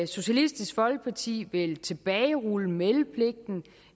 socialistisk folkeparti vil tilbagerulle meldepligten